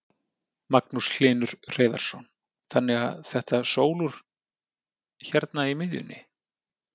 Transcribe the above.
Magnús Hlynur Hreiðarsson: Þannig að þetta sólúr hérna í miðjunni?